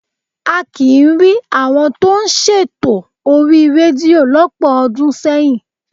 A kì í rí àwọn tó ń ṣètò orí rédíò lọ́pọ̀ ọdún sẹ́yìn.